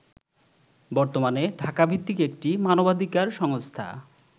বর্তমানে ঢাকাভিত্তিক একটি মানবাধিকার সংস্থা